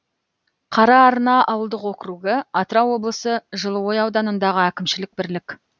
қараарна ауылдық округі атырау облысы жылыой ауданындағы әкімшілік бірлік